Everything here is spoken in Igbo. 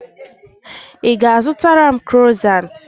Ị ga-azụtara m krosant?